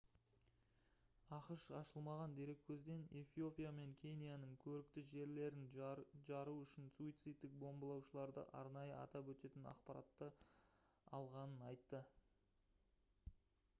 ақш ашылмаған дереккөзден эфиопия мен кенияның «көрікті жерлерін» жару үшін суицидтік бомбалаушыларды арнайы атап өтетін ақпаратты алғанын айтты